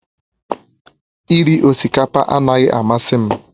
Iri osikapa anaghị amasị m